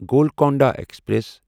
Golconda express